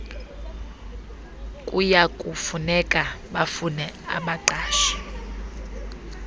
kuyakufuneka bafune abaqashi